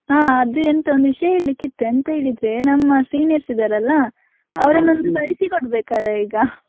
ಹಾ ಅದು ಒಂದು ವಿಷಯ ಹೇಳ್ಲಿಕ್ಕೆ ಇತ್ತು ಎಂತ ಹೇಳಿದ್ರೆ, ನಮ್ಮ seniors ಇದ್ದಾರಲ್ಲ, ಒಂದು ಕಳಿಸಿಕೊಡ್ಬೇಕಲ್ಲ ಈಗ.